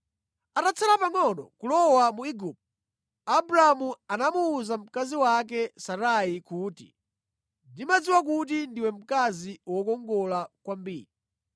Atatsala pangʼono kulowa mu Igupto, Abramu anamuwuza mkazi wake Sarai kuti, “Ndimadziwa kuti ndiwe mkazi wokongola kwambiri.